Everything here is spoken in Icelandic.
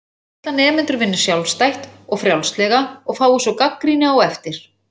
Hann vill að nemendur vinni sjálfstætt og frjálslega og fái svo gagnrýni á eftir.